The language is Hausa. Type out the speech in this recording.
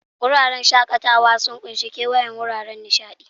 Wuraren shakatawa sun ƙunshi kewayon wuraren nishaɗi.